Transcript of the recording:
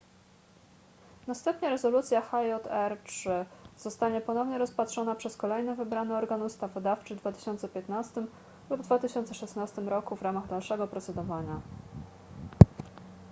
następnie rezolucja hjr-3 zostanie ponownie rozpatrzona przez kolejny wybrany organ ustawodawczy w 2015 lub 2016 roku w ramach dalszego procedowania